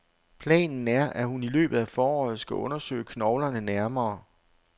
Planen er, at hun i løbet af foråret skal undersøge knoglerne nærmere.